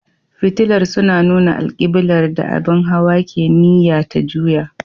Fitilar suna nuna alƙiblar da abin hawa ke niyya ta juya.